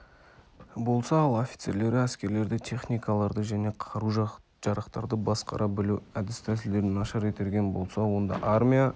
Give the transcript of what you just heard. болса ал офицерлері әскерлерді техникаларды және қару-жарақтарды басқара білу әдіс-тәсілдерін нашар игерген болса онда армия